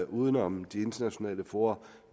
uden om de internationale fora